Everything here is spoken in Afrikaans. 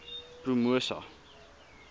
promosa